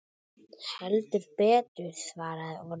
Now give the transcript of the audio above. Heldur betur svaraði Orri.